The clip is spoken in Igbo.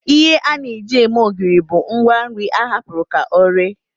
Ihe a na-eji eme ogiri bụ ngwanri a hapụrụ ka ọ ree